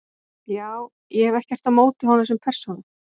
Já- ég hef ekkert á móti honum sem persónu.